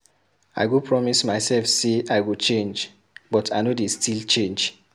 I go promise mysef sey I go change but I no dey still change.